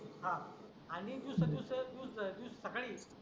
आणि juice juice juice juice अं सकाळी